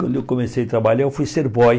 Quando eu comecei a trabalhar, eu fui ser boy.